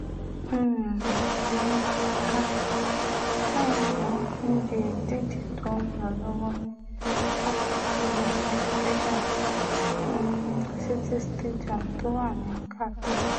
um ìyẹn kọ́tà fáínà níbi ìdíje tó ń lọ lọ́wọ́ ní pápá ìṣeré education um city stadium tó wà ní qatar